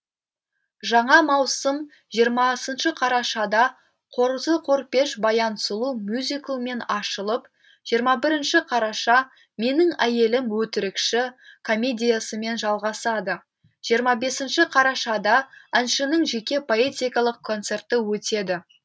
жаңа маусым жиырмасыншы қарашада қозы көрпеш баян сұлу мюзиклімен ашылып жиырма бірінші қараша менің әйелім өтірікші комедиясымен жалғасады жиырма бесінші қарашада әншінің жеке поэтикалық концерті өтеді